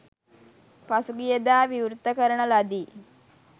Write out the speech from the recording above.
පසුගිය දා විවෘත කරන ලදී.